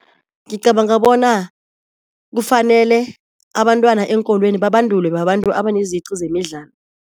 Ngicabanga bona kufanele abantwana eenkolweni babandulwe babantu abaneziqu zemidlalo.